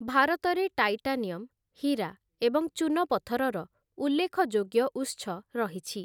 ଭାରତରେ ଟାଇଟାନିୟମ୍, ହୀରା, ଏବଂ ଚୁନପଥରର ଉଲ୍ଲେଖଯୋଗ୍ୟ ଉତ୍ସ ରହିଛି ।